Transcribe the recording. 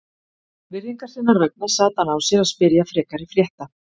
Virðingar sinnar vegna sat hann á sér að spyrja frekari frétta.